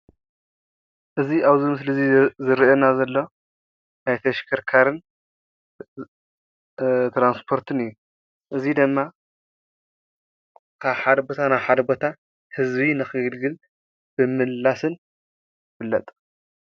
እዚ ኣብዚ ምስሊ እዚ ዝረአየና ዘሎ ናይ ተሽከርካርን ትራንስፖርትን እዩ እዚ ድማ ካብ ሓደ ቦታ ናብ ሓደ ቦታ ህዝቢ ንኸግልግል ንምምልላስን ይፍለጥ።